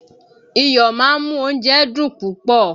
Iyọ̀ máa ń mú oúnjẹ dùn púpọ̀